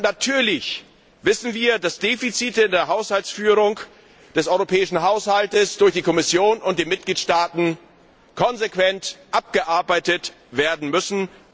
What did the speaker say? Natürlich wissen wir, dass Defizite in der Haushaltsführung des europäischen Haushalts durch die Kommission und die Mitgliedstaaten konsequent abgearbeitet werden müssen.